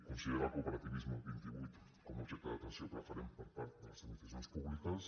considerar el cooperativisme vint i vuit com a objecte d’atenció preferent per part de les administracions públiques